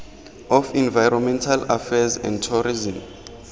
of environmental affairs and tourism